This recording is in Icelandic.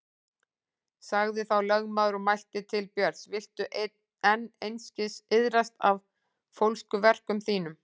Sagði þá lögmaður og mælti til Björns: Viltu enn einskis iðrast af fólskuverkum þínum?